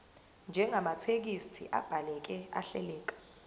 njengamathekisthi abhaleke ahleleka